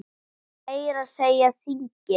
Meira að segja þingið!